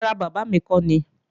Rárá, bábà mi kọ́ nìí